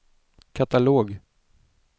katalog